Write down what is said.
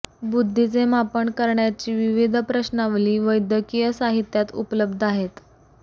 बुद्धीचे मापन करण्याची विविध प्रश्नावली वैद्यकीय साहित्यात उपलब्ध आहेत